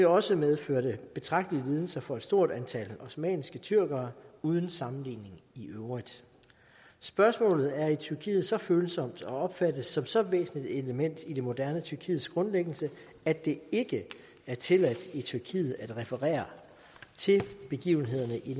også medførte betragtelige lidelser for stort antal osmanniske tyrkere uden sammenligning i øvrigt spørgsmålet er i tyrkiet så følsomt og opfattes som så væsentligt et element i det moderne tyrkiets grundlæggelse at det ikke er tilladt i tyrkiet at referere til begivenhederne i